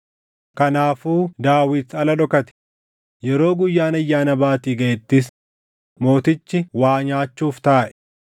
Kanaafuu Daawit ala dhokate; yeroo Guyyaan Ayyaana Baatii gaʼettis mootichi waa nyaachuuf taaʼe.